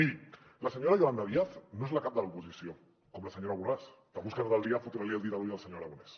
miri la senyora yolanda díaz no és la cap de l’oposició com la senyora borràs que busca tot el dia fotre li el dit a l’ull al senyor aragonès